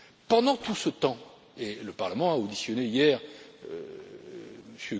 Pendant tout ce temps et le Parlement a auditionné hier M.